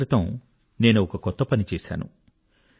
కొన్నాళ్ళ క్రితం నేను ఒక కొత్త పని చేశాను